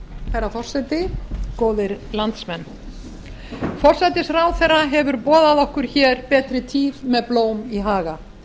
herra forseti góðir landsmenn forsætisráðherra hefur boðað okkur hér betri tíð með blóm í haga